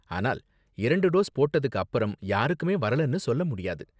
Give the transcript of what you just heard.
ஆனால் இரண்டு டோஸ் போட்டதுக்கு அப்பறம் யாருக்குமே வரலனு சொல்ல முடியாது.